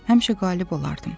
Həmişə qalib olardım.